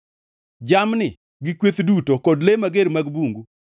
Jamni gi kweth duto kod le mager mag bungu,